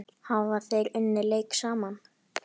Hafa þeir unnið leik saman?